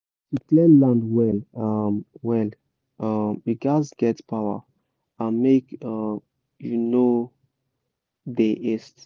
to clear land well well you gatz get power and make you no dey haste